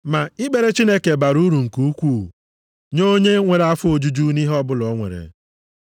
Ma ikpere Chineke bara uru nke ukwuu nye onye nwere afọ ojuju nʼihe ọbụla o nwere.